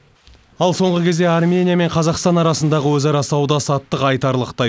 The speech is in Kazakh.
ал соңғы кезде армения мен қазақстан арасындағы өзара сауда саттық айтарлықтай